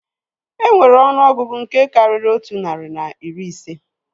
Enwere ọnụọgụgụ nke karịrị otu narị na iri ise